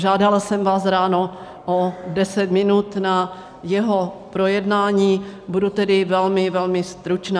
Žádala jsem vás ráno o 10 minut na jeho projednání, budu tedy velmi, velmi stručná.